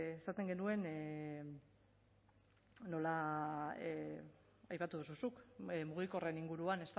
esaten genuen aipatu duzu zuk mugikorren inguruan